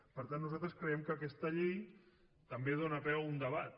per tant nosaltres creiem que aquesta llei també dóna peu a un debat